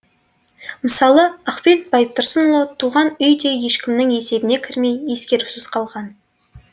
мысалы ахмет байтұрсынұлы туған үй де ешкімнің есебіне кірмей ескерусіз қалған